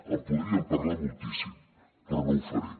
en podríem parlar moltíssim però no ho faré